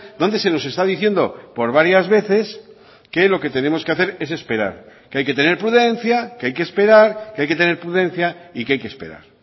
donde se nos está diciendo por varias veces que lo que tenemos que hacer es esperar que hay que tener prudencia que hay que esperar que hay que tener prudencia y que hay que esperar